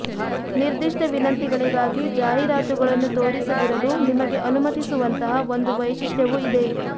ನಿರ್ದಿಷ್ಟ ವಿನಂತಿಗಳಿಗಾಗಿ ಜಾಹೀರಾತುಗಳನ್ನು ತೋರಿಸದಿರಲು ನಿಮಗೆ ಅನುಮತಿಸುವಂತಹ ಒಂದು ವೈಶಿಷ್ಟ್ಯವು ಇದೆ